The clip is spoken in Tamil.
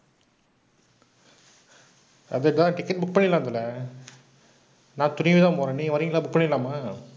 ticket book பண்ணிடலாம் தல. நான் துணிவு தான் போறேன். நீங்க வர்றீங்களா? book பண்ணிடலாமா?